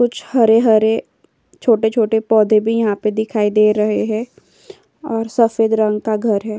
कुछ हरे-हरे छोटे-छोटे पौधे भी यहाँ पे दिखाई दे रहे हे और सफेद रंग का घर है।